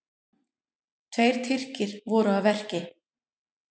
Tveir Tyrkir voru að verki.